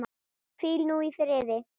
Hvíl nú í friði.